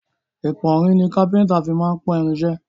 Ìpọ́nrin ni káfíńńtà fí máa ń pọ́n irin iṣẹ́.